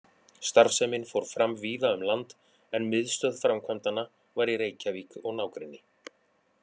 Starfsemin fór fram víða um land, en miðstöð framkvæmdanna var í Reykjavík og nágrenni.